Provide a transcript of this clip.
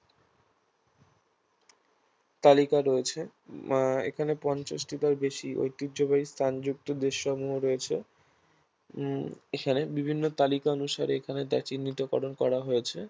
তালিকা রয়েছে আহ এখানে পঞ্চাশটিরও বেশি ঐতিহ্যবাহী স্থানযুক্ত দেশসমূহ রয়েছে উম এখানে বিভিন্ন তালিকা অনুসারে এখানে তা চিহ্নিতকরণ করা হয়েছে